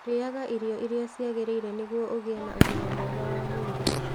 Rĩaga irio iria ciagĩrĩire nĩguo ũgĩe na ũgima mwega wa mwĩrĩ.